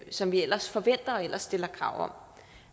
som vi ellers forventer og stiller krav om